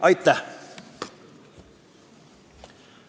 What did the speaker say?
Aitäh!